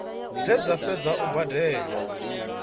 dze dza fhedza u badela